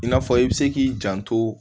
I n'a fɔ i bɛ se k'i janto